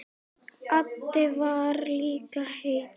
Addi var líka hetja.